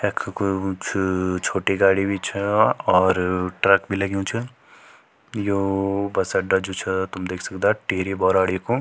यख कुई वू छ छोटी गाड़ी भी छ और ट्रक भी लग्युं छ यू बस अड्डा जू छ तुम देख सकदा टिहरी बैराड़ी कु --